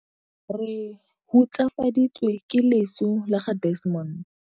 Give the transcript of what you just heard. Re hutsafaditswe ke leso la ga Desmond.